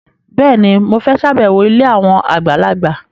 Bẹ́ẹ̀ni, mo fẹ́ ṣàbẹ̀wọ̀ ilé àwọn àgbàlagbà